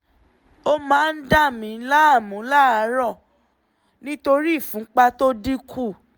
ó máa ń dà mí láàmú láàárọ̀ nítorí ìfúnpá tó dín kù